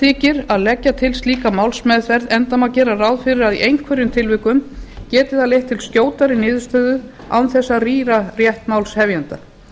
þykir að leggja til slíka málsmeðferð enda má gera ráð fyrir að í einhverjum tilvikum geti það leitt til skjótari niðurstöðu án þess að rýra rétt málshefjanda